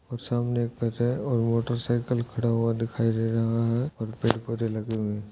वो सामने एक घर है और मोटेरकीकल खड़े हुए दिखाई दे रहे हैं और पेड़ पौधे लगे हुए है।